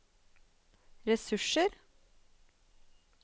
ressurser